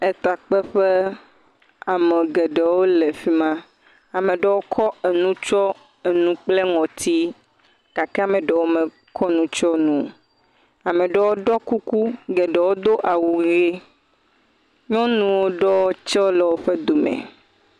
Tekpeƒe, ame geɖewo le fi ma. Ame aɖewo kɔ nu tsɔ enu kple ŋɔti gake ame aɖewo mekɔ nu tsɔ nu. Ame aɖewo woɖɔ kuku, geɖewo do awu ʋi. Nyɔnu ɖewo tsɛ le wo dome.